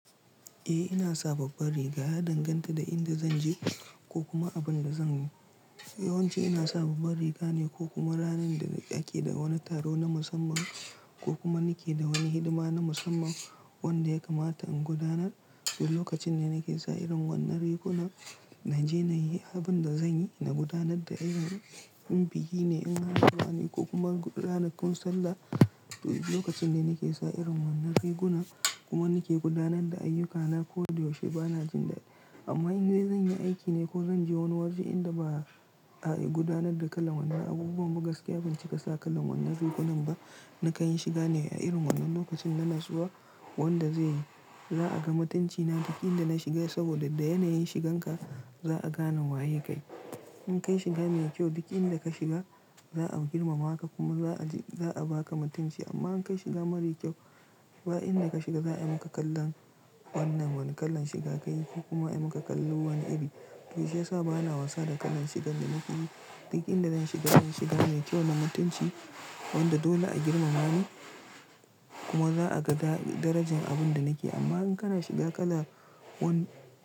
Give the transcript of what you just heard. Eh ina saba bar riga, yadanganta da inda zanje ko kuma abin da zanyi. Yawanci ina saba bar riga ne ko kuma ranar da nake da wani taro na musamman ko kuma nake da wani hidima na musamman wanda ya kamata in gudanar. To lokacin ne nake sa irin wannan rigunan, naje nayi abin da zanyi na gudanar da ayyukana. In biki ne ina zuwa ne ko kuma ranakun sallah, to lokacin ne nake sa irin wannan rigunan kuma nake gudanar da ayyukana ko da yaushe bana jin daɗi. Amma in dai zan yi aiki ne ko zan je wani waje inda ba'a gudanar da kalan wannan abubuwan, ba gaskiya banci kasa kalan wannan rigunan ba. Na kayan shiga ne a irin wannan lokacin, yana zuwa wanda zai yi. Za'a ga mutunci na duk inda na shiga saboda da yanayin shigan ka za'a gane waye kayi. In ka yi shiga mai kyau duk inda ka shiga za'a girmama ka kuma za'a baka mutunci. Amma in ka yi shiga mara kyau, ba inda ka shiga za'a maka kallon wannan wani kalan shiga kayi ko kuma a maka kallo wani iri. To shiyasa bana wasa da kalan shigan da nake yi. Duk inda zan shiga, zan shiga mai kyau na mutunci wanda dole a girmama ni kuma za'a ga darajan abin da nake. Amma in kana shiga kalan wani.